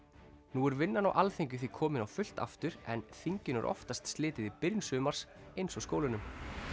nú er vinnan á Alþingi því komin á fullt aftur en þinginu er oftast slitið í byrjun sumars eins og skólunum